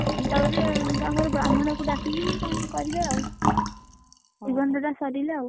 ତାପରେ ତାଙ୍କର ବ୍ରାହ୍ମଣକୁ ଡାକିକି କଣ କରିବେ ଆଉ ନିର୍ବନ୍ଧ ଟା ସରିଲେ ଆଉ,